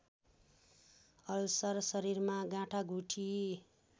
ulcer शरीरमा गाँठागुठी